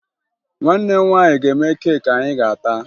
Nwanne m nwaanyị ga-eme keeki anyị ga-ata